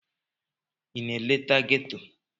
Ị na-eleta ghetto?